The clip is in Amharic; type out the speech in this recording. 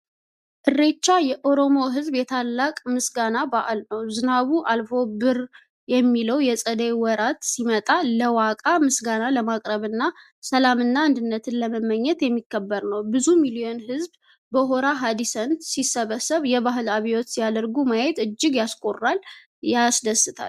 እርሬቻ የኦሮሞ ሕዝብ የታላቅ ምስጋና በዓል ነው! ዝናቡ አልፎ ብር የሚለው የጸደይ ወራት ሲመጣ፣ ለዋቃ ምስጋና ለማቅረብና ሰላምንና አንድነትን ለመመኘት የሚከበር ነው። ብዙ ሚሊዮን ሕዝብ በሆራ ሐርሰዲ ሲሰባሰብ፣ የባህል አብዮት ሲያደርጉ ማየት እጅግ ያኮራልና ያስደስታል!